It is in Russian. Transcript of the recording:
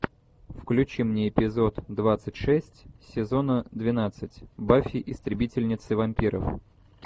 включи мне эпизод двадцать шесть сезона двенадцать баффи истребительница вампиров